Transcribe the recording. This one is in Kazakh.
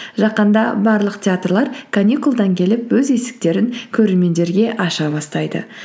жақында барлық теартлар каникулдан келіп өз есіктерін көрермендерге аша бастайды